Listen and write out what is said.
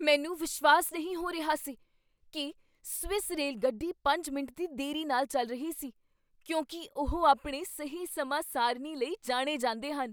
ਮੈਨੂੰ ਵਿਸ਼ਵਾਸ ਨਹੀਂ ਹੋ ਰਿਹਾ ਸੀ ਕੀ ਸਵਿਸ ਰੇਲਗੱਡੀ ਪੰਜ ਮਿੰਟ ਦੀ ਦੇਰੀ ਨਾਲ ਚੱਲ ਰਹੀ ਸੀ ਕਿਉਂਕਿ ਉਹ ਆਪਣੇ ਸਹੀ ਸਮਾਂ ਸਾਰਣੀ ਲਈ ਜਾਣੇ ਜਾਂਦੇ ਹਨ